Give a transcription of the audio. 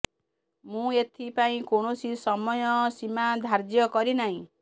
ମୁଁ ଏଥି ପାଇଁ କୌଣସି ସମୟ ସୀମା ଧାର୍ଯ୍ୟ କରିନାହିଁ